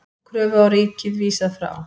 Kröfu á ríkið vísað frá